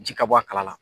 Ji ka bɔ a kalama